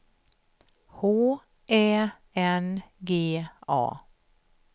H Ä N G A